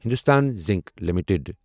Hindustan zinc limited